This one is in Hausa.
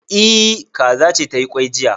E, kaza ce ta yi kwai jiya